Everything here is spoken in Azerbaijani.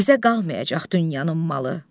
Bizə qalmayacaq dünyanın malı.